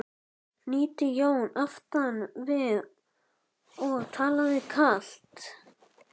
hnýtti Jón aftan við og talaði kalt.